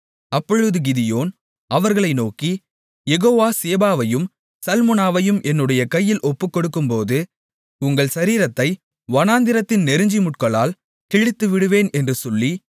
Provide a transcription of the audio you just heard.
அப்பொழுது கிதியோன் அவர்களை நோக்கி யெகோவா சேபாவையும் சல்முனாவையும் என்னுடைய கையில் ஒப்புக்கொடுக்கும்போது உங்கள் சரீரத்தை வனாந்திரத்தின் நெரிஞ்சில்முட்களால் கிழித்துவிடுவேன் என்று சொல்லி